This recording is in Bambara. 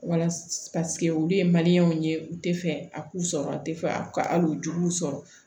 Walasa olu ye ye u tɛ fɛ a k'u sɔrɔ tɛ fɛ ali juruw sɔrɔ